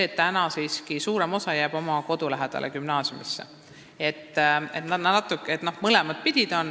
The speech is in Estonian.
Täna siiski suurem osa lapsi jääb oma kodu lähedale gümnaasiumisse.